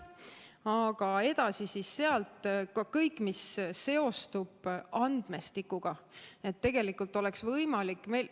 Aga sealt edasi siis ka kõik see, mis seostub andmestikuga.